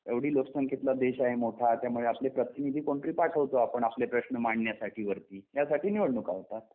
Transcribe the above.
एवढी लोकसंख्येतला देश आहे मोठा त्यामुळे आपलें प्रतिनिधी पाठवतोय आपण आपले प्रश्न मांडण्यासाठीवरती यासाठी निवडणूका होतात.